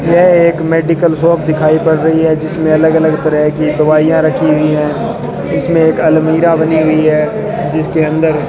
यह एक medical shop दिखाई पड़ रही है जिसमें अलग अलग तरह की दवाइयां रखी हुई है इसमें एक अलमीरा बनी हुई है जिसके अंदर --